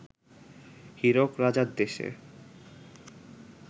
হীরক রাজার দেশে